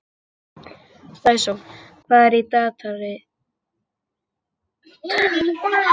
Sæsól, hvað er í dagatalinu mínu í dag?